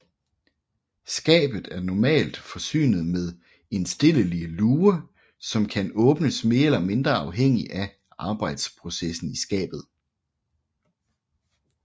Skabet er normalt forsynet med indstillelig luge som kan åbnes mere eller mindre afhængig af arbejsprocessen i skabet